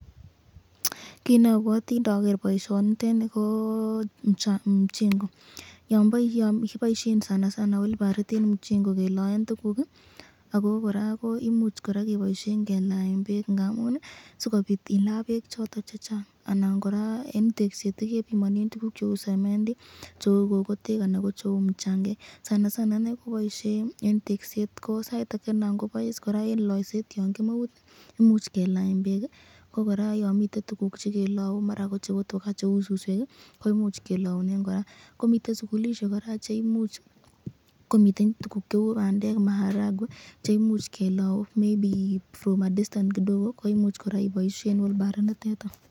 Kit neobwoti noker boisioni niteni Koo mja mjengo yon kiboisien sana sana wilbarit enn mjengo keloen tugul ii, Ako kora ko imuch kora keboisien kelaen bek ngamun ii sikobit ila bek joton chechang anan kora enn tekset ii kebimonen tuguk cheu semendi cheu kokotek anan ko cheu mjangek sana sana inee koboisie enn tegset Koo sait ake anan kobois kora enn loisiet yon kimongu imuch kelaen bek ii kokora yon miten tuguk chekelou mara ko cheu tuka cheu suswek Ii ko imuch kelounen kora komiten sugulisiek che imuch komiten tuguk cheu bandek maharagwe che imuch kelounen maybe from a distance kidogo ko imuch kora iboisien wulbarit nitet.